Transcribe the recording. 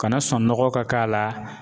Kana sɔn nɔgɔ ka k'a la.